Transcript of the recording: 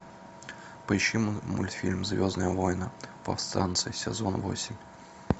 поищи мультфильм звездные войны повстанцы сезон восемь